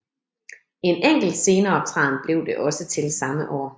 En enkelt sceneoptræden blev det også til samme år